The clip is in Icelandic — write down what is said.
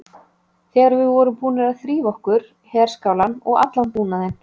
Þegar við vorum búnir að þrífa okkur, herskálann og allan búnaðinn.